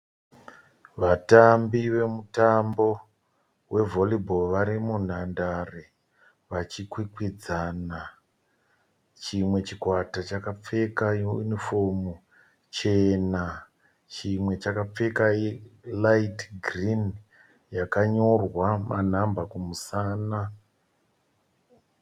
Vatambi vemutambo wevhorubhoo vari munhandare vachikwikwidzana. Chimwe chikwata chakapfeka yunifomu chena, chimwe chakapfeka raiti girinhi yakanyorwa manhamba kumusana.